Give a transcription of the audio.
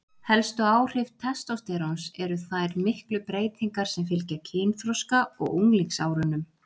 helstu áhrif testósteróns eru þær miklu breytingar sem fylgja kynþroska og unglingsárunum